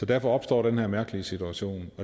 derfor opstår den her mærkelige situation